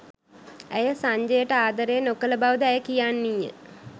ඇය සංජයට ආදරය නොකළ බවද ඇය කියන්නීය